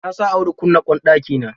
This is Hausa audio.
Na sa Audu kunna ƙwan ɗakina.